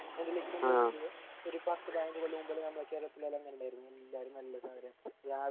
എന്തിലെങ്കിലും ഒരു പത്ത് പതിനഞ്ച് കൊല്ലം മുമ്പെല്ലാം ഞമ്മളെ കേരളത്തിൽ എല്ലാം അങ്ങിനെയല്ലാർന്നു എല്ലാരും നല്ല